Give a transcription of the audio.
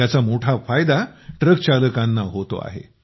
याचा मोठा फायदा ट्रक चालकांना होत आहे